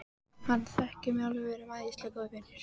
Hann þekkir mig alveg, við erum æðislega góðir vinir.